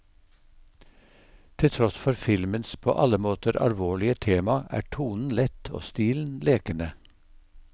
Til tross for filmens på alle måter alvorlige tema, er tonen lett og stilen lekende.